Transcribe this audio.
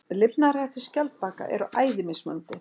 Lifnaðarhættir skjaldbaka eru æði mismunandi.